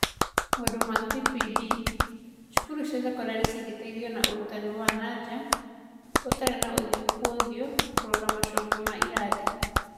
Maũndũ ma TPD: Cukuru cia sekondarĩ cingĩteithio na ũrutani wa naja ũtarĩ wa ũthiũ kwa ũthiũ, kũrora macokio ma irathi